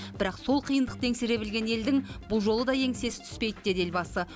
бірақ сол қиындықты еңсере білген елдің бұл жолы да еңсесі түспейді дейді елбасы